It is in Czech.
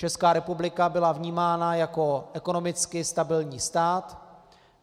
Česká republika byla vnímána jako ekonomicky stabilní stát.